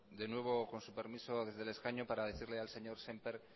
de nuevo con su permiso desde el escaño para decirle al señor semper